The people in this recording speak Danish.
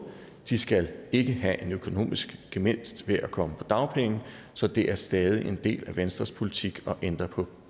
de skal ikke have en økonomisk gevinst ved at komme på dagpenge så det er stadig en del af venstres politik at ændre på